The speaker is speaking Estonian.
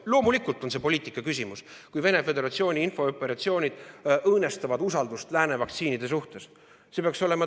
Loomulikult on see poliitika küsimus, kui Venemaa Föderatsiooni infooperatsioonid õõnestavad usaldust lääne vaktsiinide suhtes.